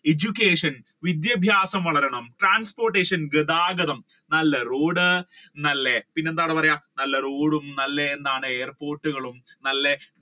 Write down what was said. education വിദ്യാഭ്യാസം വളരണം transportation ഗതാഗതം നല്ല road നല്ല പിന്നെ എന്താണ് പറയുക നല്ല road നല്ല എന്താണ് നല്ല airport കളും നല്ല